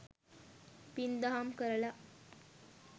පින්දහම් කරල